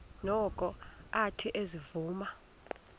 noko athe ezivuma